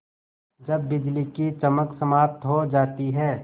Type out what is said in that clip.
जब बिजली की चमक समाप्त हो जाती है